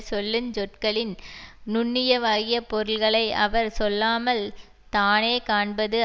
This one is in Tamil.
சொல்லு சொற்களின் நுண்ணியவாகிய பொருள்களை அவர் சொல்லாமல் தானே காண்பது